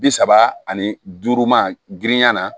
Bi saba ani duuru ma girinya la